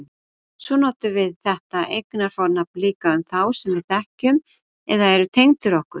Svo notum við þetta eignarfornafn líka um þá sem við þekkjum eða eru tengdir okkur.